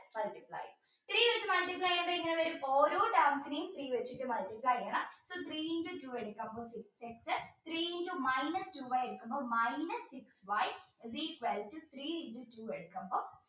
three എടുത്തു multiply ചെയ്യുമ്പോൾ എങ്ങനെ വരും ഓരോ terms നേയും three വെച്ച് multiply ചെയ്യണം so three into two എടുക്കാം three into minus two y എടുക്കുമ്പോൾ minus y is equal to three into two x